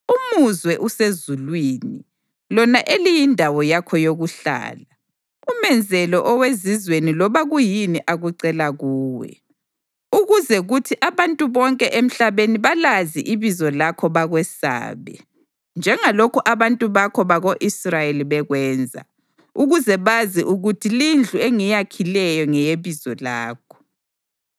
umuzwe usezulwini, lona eliyindawo yakho yokuhlala, umenzele owezizweni loba kuyini akucela kuwe, ukuze kuthi abantu bonke emhlabeni balazi ibizo lakho bakwesabe, njengalokhu abantu bakho bako-Israyeli bekwenza, ukuze bazi ukuthi lindlu engiyakhileyo ngeyeBizo lakho.